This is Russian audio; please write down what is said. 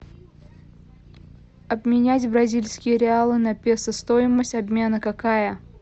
обменять бразильские реалы на песо стоимость обмена какая